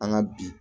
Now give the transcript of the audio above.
An ka bi